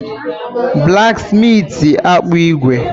Blaksmitị akpụ ígwè.